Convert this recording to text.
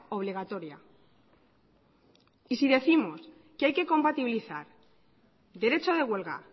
obligatoria y si décimos que hay que compatibilizar el derecho de huelga